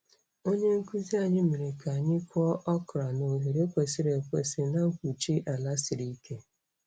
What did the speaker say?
Onye nkuzi anyị mere ka anyị kụọ okra na oghere kwesịrị ekwesị na mkpuchi ala siri ike.